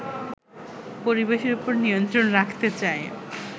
পরিবেশের ওপর নিয়ন্ত্রণ রাখতে চায়